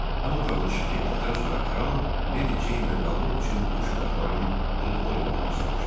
Hama dağılışıb getdikdən sonra kral Mary Jeanla qalmaq üçün boş otaqların olub-olmadığını soruşdu.